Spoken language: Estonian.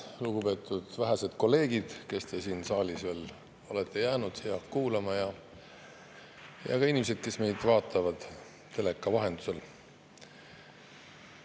Lugupeetud vähesed kolleegid, kes te siin saalis veel olete kuulamas, ja ka inimesed, kes meid vaatavad teleka vahendusel!